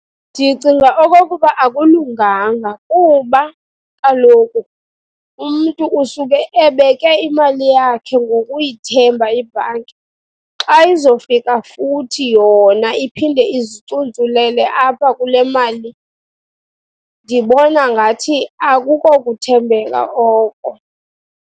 Ndicinga okokuba akulunganga kuba kaloku umntu usuke ebeke imali yakhe ngokuyithemba ibhanki. Xa izofika futhi yona iphinde izicuntsulele apha kule mali, ndibona ngathi akukokuthembeka oko.